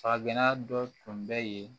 Saga gɛnna dɔ tun bɛ yen